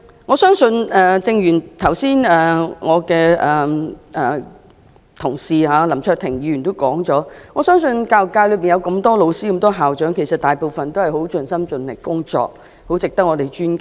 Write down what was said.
我相信正如我的同事林卓廷議員剛才所說，我相信教育界內有這麼多位教師和校長，他們大部分都是很盡心盡力工作，很值得我們尊敬。